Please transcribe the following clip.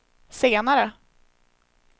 senare